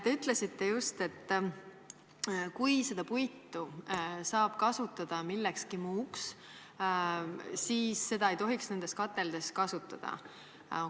Te ütlesite just, et kui seda puitu saab kasutada millekski muuks, siis seda ei tohiks nendes kateldes kasutada.